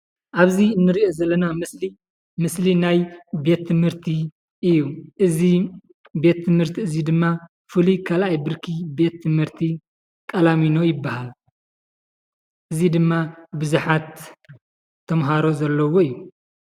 አብዚ ንሪኦ ዘለና ምስሊ ምስሊ ናይ ቤት ትምህርቲ እዩ እዚ ቤት ትምርቲ እዚ ድማ ፍሉይ ካልአይ ብርኪ ቃላሚኖ ይበሃል። እዚ ድማ ብዙሓት ተምሃሮ ዘለዎ እዩ።